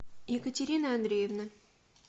екатерины андреевны